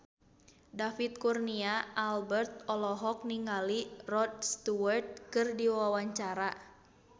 David Kurnia Albert olohok ningali Rod Stewart keur diwawancara